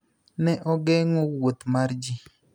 Ne ogeng�o wuoth mar ji.